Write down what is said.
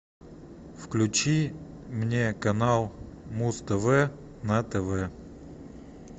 включи мне канал муз тв на тв